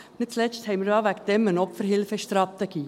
Nicht zuletzt haben wir ja deswegen eine Opferhilfestrategie.